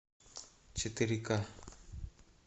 четыре ка